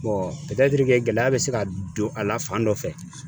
Bɔn pɛtɛtiri ke gɛlɛya be se ka don a la fan dɔ fɛ